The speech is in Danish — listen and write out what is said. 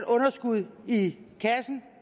underskud i kassen